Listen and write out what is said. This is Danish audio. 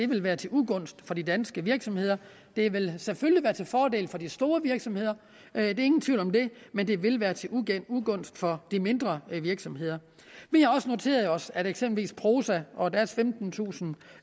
vil være til ugunst for de danske virksomheder det vil selvfølgelig være til fordel for de store virksomheder ingen tvivl om det men det vil være til ugunst for de mindre virksomheder vi har også noteret os at eksempelvis prosa og deres femtentusind